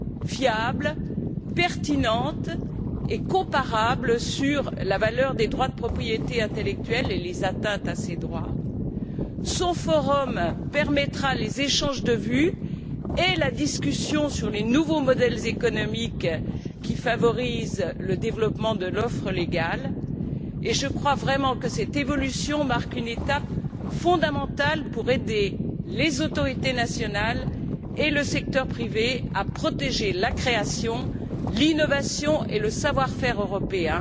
fiables, pertinentes et comparables sur la valeur des droits de propriété intellectuelle et les atteintes à ces droits. Son forum permettra les échanges de vues et la discussion sur les nouveaux modèles économiques qui favorisent le développement de l'offre légale. Je crois vraiment que cette évolution marque une étape fondamentale pour aider les autorités nationales et le secteur privé à protéger la création, l'innovation et le savoir faire européen